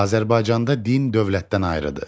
Azərbaycanda din dövlətdən ayrıdır.